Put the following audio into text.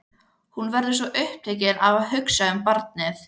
Hún verður svo upptekin af að hugsa um barnið.